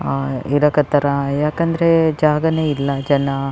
ಆಹ್ಹ್ ಇರಾಕ್ ಹತ್ತರ ಯಾಕಂದ್ರೆ ಜಾಗನೇ ಇಲ್ಲ ಜನ --